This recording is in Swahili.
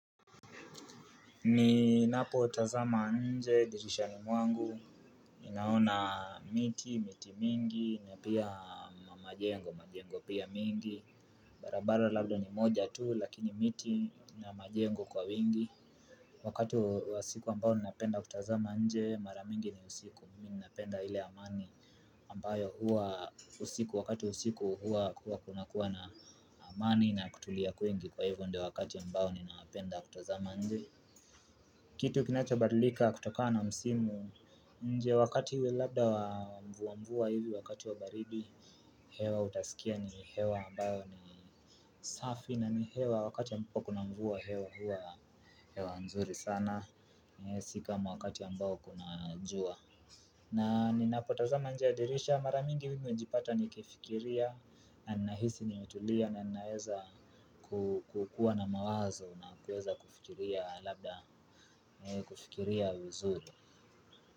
Ni napotazama nje, dirishani mwangu, ninaona miti, miti mingi, na pia majengo, majengo pia mingi. Barabara labda ni moja tu, lakini miti na majengo kwa wingi. Wakati wa siku ambao ninapenda kutazama nje, maramingi ni usiku, ninapenda hile amani ampayo huwa usiku, wakati wa usiku huwa kuna kuwa na amani na kutulia kuingi kwa hivyo ndo wakati ambao ninapenda kutazama nje. Kitu kinacho badlika kutokana na msimu nje wakati hu labda wa mvuwa mvuwa hivi wakati wa baridi. Hewa utasikia ni hewa ambayo ni safi na ni hewa wakati ambapo kuna mvuwa hewa huwa hewa nzuri sana. Sika wakati ambayo kuna jua. Na ninapotazama nje ya dirisha mara mingi hui najipata nikifikiria na nahisi nimetulia na naweza kukua na mawazo na kuweza kufikiria labda kufikiria vizuri.